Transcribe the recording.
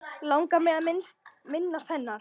Langar mig að minnast hennar.